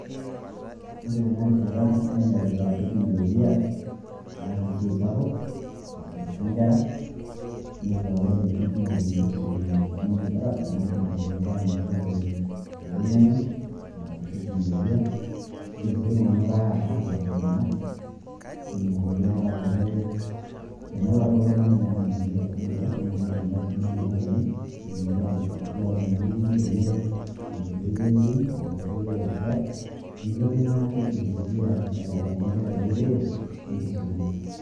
Ore tenarishata, nenyokita teknolojia aas esiai sapuk, aisumisha nkera, nepu ah ore intokiting' kumok neitu isumi oltung'ani te darasa, na keidim iltung'anak anoto te oloing'ang'e, ah te teknolojia. Idim si iltung'anak ataas intemat, idim iltung'anak ataa ke ,tenelakwa oltung'ani metaa metumoki ashomo darasa, na kidim ake aisumayu telakwani, netumoki atoduare ormalimui lenye tenkoitoi e zoom ,tenkoitoi e WhatsApp. Neeku etonyua teknolojia aitabaki nkera ereteto enkisuma.